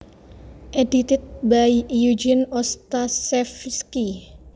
edited by Eugene Ostashevsky